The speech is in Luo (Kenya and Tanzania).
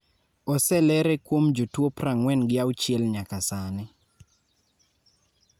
oselere kuom jotuo prang'wen gi auchiel nyaka sani